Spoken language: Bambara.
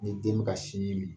N'i ye den ban sin ji man